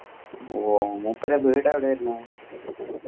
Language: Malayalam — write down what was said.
ഓ മൂപ്പരെ വീട് എവിടെയാ വരുന്നേ